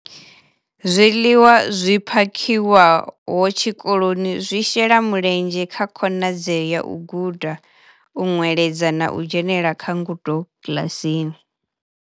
Zwiḽiwa zwi phakhiwaho tshikoloni zwi shela mulenzhe kha khonadzeo ya u guda, u nweledza na u dzhenela kha ngudo kiḽasini.